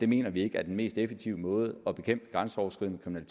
mener ikke er den mest effektive måde at bekæmpe grænseoverskridende